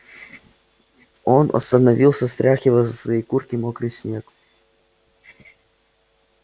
он остановился стряхивая со своей куртки мокрый снег